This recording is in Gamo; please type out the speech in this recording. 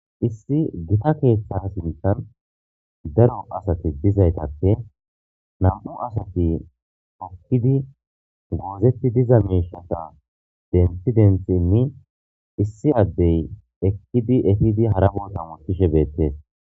Issi gita keeththa sinthan daro asatis dizaytappe nam'u asati okkidi guozetti diza meeshata denthi denthinni issi addey ekkidi efidi hara bolta wotishe beettees.